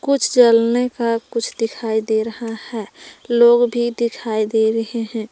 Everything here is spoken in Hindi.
कुछ जलने का कुछ दिखाई दे रहा है लोग भी दिखाई दे रहे हैं।